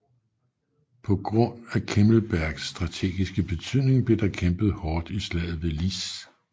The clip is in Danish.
På grund af Kemmelbergs strategiske betydning blev der kæmpet hårdt i slaget ved Lys